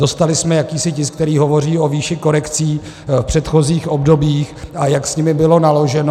Dostali jsme jakýsi tisk, který hovoří o výši korekcí v předchozích obdobích, a jak s nimi bylo naloženo.